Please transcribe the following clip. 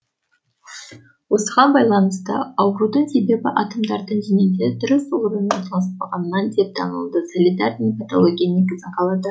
осыған байланысты аурудын себебі атомдардың денеде дұрыс орналаспағандығынан деп танылды солидарный патология негізін калады